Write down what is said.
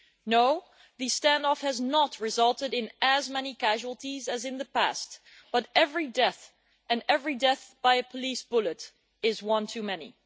No, the standoff has not resulted in as many casualties as in the past, but every death and every death by a police bullet is one too many.